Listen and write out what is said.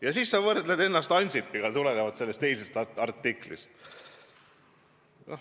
Ja siis sa viitad Ansipile tulenevalt sellest eilsest artiklist.